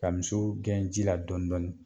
Ka misiw gɛn ji la dɔɔn dɔɔni